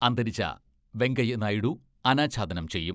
അന്തരിച്ച വെങ്കയ്യ നായിഡു അനാച്ഛാദനം ചെയ്യും.